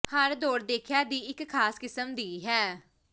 ਹਰ ਦੌੜ ਦੇਖਿਆ ਦੀ ਇੱਕ ਖਾਸ ਕਿਸਮ ਦੀ ਹੈ